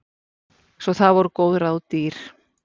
Svo það voru góð ráð dýr.